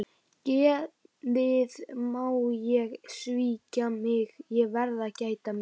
Geðið má ekki svíkja mig, ég verð að gæta mín.